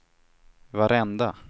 varenda